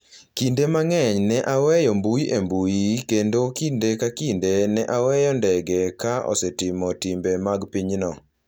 Kinde mang’eny ne aweyo mbui e mbui kendo kinde ka kinde ne aweyo ndege ka asetimo timbe mag pinyno.